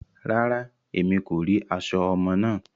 Rárá, Èmí kò ri aṣọ ọmọ náà